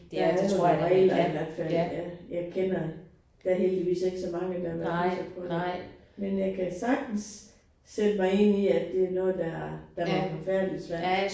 Der er nogle regler i hvert fald ja jeg kender. Der heldigvis ikke så mange der har været udsat for det. Men jeg kan sagtens sætte mig ind i at det er noget der der må være forfærdeligt svært